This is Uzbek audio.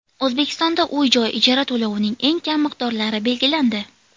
O‘zbekistonda uy-joy ijara to‘lovining eng kam miqdorlari belgilandi.